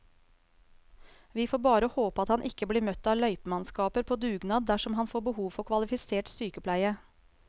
Vi får bare håpe at han ikke blir møtt av løypemannskaper på dugnad dersom han får behov for kvalifisert sykepleie.